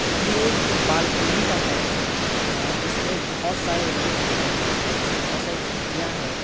ये एक बालकनी का है अ जिसमें बहुत सारे रूम है उसमें बहुत सारी खिड़कियां है।